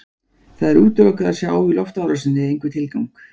Það er útilokað að sjá í loftárásinni einhvern tilgang.